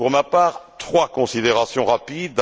Pour ma part, trois considérations rapides.